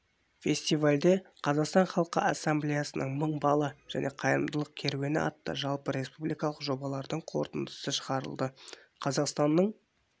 фестивальде қазақстан халқы ассамблеясының мың бала және қайырымдылық керуені атты жалпы республикалық жобалардың қорытындысы шығарылды қазақстанның